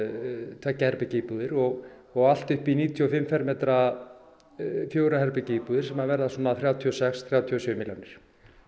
tveggja herbergja íbúðir og og allt upp í níutíu og fimm fermetra fjögurra herbergja íbúðir sem verða á þrjátíu og sex til þrjátíu og sjö milljónir